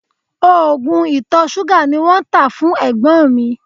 Oògùn ìtọ̀ ṣúgà ni wọ́n tá fún ẹ̀gbọ́n mi